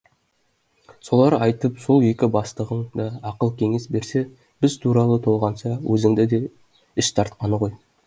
солар айтып сол екі бастығың да ақыл кеңес берсе біз туралы толғанса өзіңді де іш тартқаны ғой